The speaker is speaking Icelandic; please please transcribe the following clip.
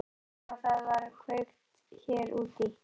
Ég sá að það var kveikt hér úti.